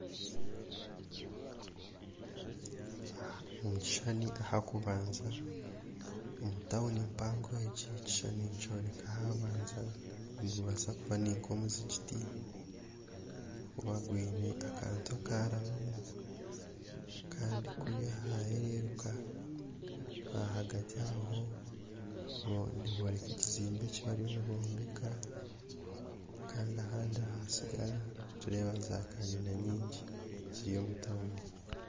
Omukishushani ah'okubanza omu tauni mpango egi ekishushani nikyoreka ahabanza ogu nigubaasa kuba guri nkomuzigiti ahakuba gwine akatu akarabamu Kandi kuriya ahahereruka ahagati aho nihooreka ekizimbe eki bariyo nibombeka Kandi ahandi ahasigara nigureeba za kanyina nyingi ziri omu tauni